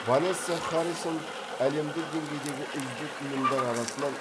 ванесса харрисон әлемдік деңгейдегі үздік ұйымдар арасынан